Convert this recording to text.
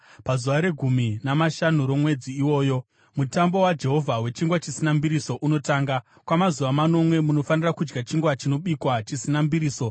Pazuva regumi namashanu romwedzi iwoyo Mutambo waJehovha weChingwa Chisina Mbiriso unotanga; kwamazuva manomwe munofanira kudya chingwa chinobikwa chisina mbiriso.